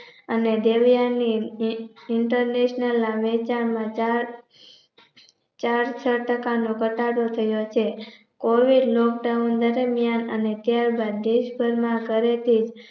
અને international ના વેચાણ માં ચાર ચારસો ટકાનો ધટાડો છે. કોઈએ covid Lock down દરમ્યાન અને કેળવવા દેશભરમાં ઘરે થી